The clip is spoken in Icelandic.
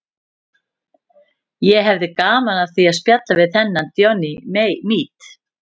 Ég hefði gaman af því að spjalla við þennan Johnny Mate.